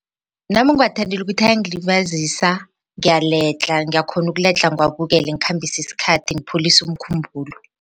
Nami ngiwathandela ukuthi ayingilibazisa ngiyaledlha ngiyakhona ukuledla ngiwabukela ngikhambise isikhathi ngipholise umkhumbulo.